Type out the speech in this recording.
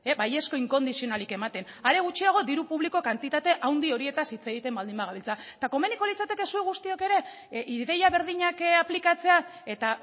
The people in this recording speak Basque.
baizko inkondizionalik ematen are gutxiago diru publiko kantitate handi horietaz hitz egiten baldin bagabiltza eta komeniko litzateke zuek guztiok ere ideia berdinak aplikatzea eta